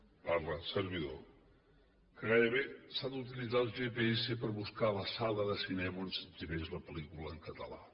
parla un servidor que gairebé s’ha d’utilitzar el gps per buscar la sala de cinema on s’exhibeix la pel·lícula en català